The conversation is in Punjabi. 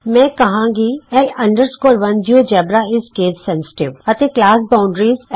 ਮੈਂ ਲਿਖਾਂਗੀ ਲ 1 ਜਿਓਜੈਬਰਾ ਆਈਐਸ ਕੇਸ ਸੈਂਸਿਟਿਵ ਵੱਡੇ ਅਤੇ ਛੋਟੇ ਅੱਖਰ ਅੱਲਗ ਮੰਨੇ ਜਾਂਦੇ ਹਨ ਅਤੇ ਕਲਾਸ ਬਾਊਂਡਰੀਜ਼ ਲਈ ਹੈ